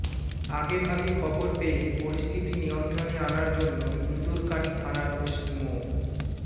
আগে ভাগে খবর পেয়ে পরিস্থিতি নিয়ন্ত্রণে আনার জন্য ইন্দুরকানী থানার ওসি মো